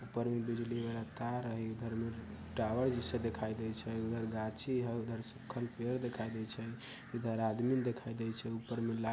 ऊपर में बिजली वाला तार हई उधर में टॉवर जैसा देखाई दे छई उधर गाछी हई उधर सुखल पेड़ देखाई दे छई इधर आदमी देखाई दे छई ऊपर में लाल --